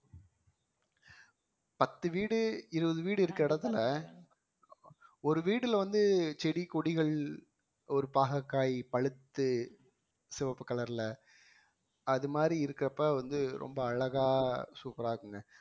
பத்து வீடு இருபது வீடு இருக்க இடத்துல ஒரு வீடுல வந்து செடி கொடிகள் ஒரு பாகற்காய் பழுத்து செவப்பு கலர்ல அது மாதிரி இருக்கிறப்ப வந்து ரொம்ப அழகா சூப்பரா இருக்குங்க